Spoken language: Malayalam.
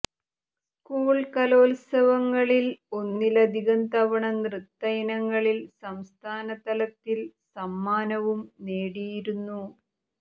സ്കൂൾ കലോത്സവങ്ങളിൽ ഒന്നിലധികം തവണ നൃത്ത ഇനങ്ങളിൽ സംസ്ഥാനതലത്തിൽ സമ്മാനവും നേടിയിരുന്നു